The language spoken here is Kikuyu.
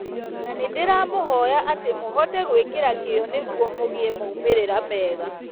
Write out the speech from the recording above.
Na nĩndĩramũhoya atĩ mũhote gwĩkĩra kĩyo nĩguo mũgĩe maumĩrĩra mega